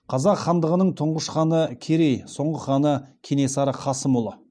қазақ хандығының тұңғыш ханы керей соңғы ханы кенесары қасымұлы